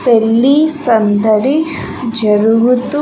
పెళ్లి సందడి జరుగుతూ.